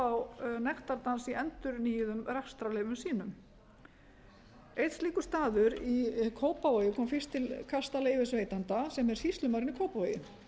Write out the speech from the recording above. á nektardans í endurnýjuðum rekstrarleyfum sínum einn slíkur staður í kópavogi kom fyrst til leyfisveitanda sem er sýslumaðurinn í kópavogi